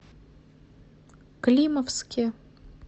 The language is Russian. климовске